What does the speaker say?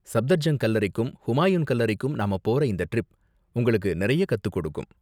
சப்தர்ஜங் கல்லறைக்கும் ஹுமாயுன் கல்லறைக்கும் நாம போற இந்த டிரிப் உங்களுக்கு நிறைய கத்துக் கொடுக்கும்.